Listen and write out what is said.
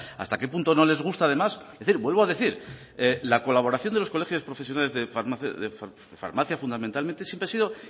hasta qué punto no les gusta además es decir vuelvo a decir la colaboración de colegios profesionales de farmacia fundamentalmente siempre ha sido